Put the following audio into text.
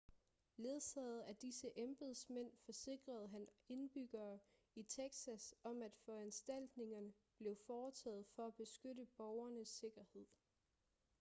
ledsaget af disse embedsmænd forsikrede han indbyggerne i texas om at foranstaltninger blev foretaget for at beskytte borgernes sikkerhed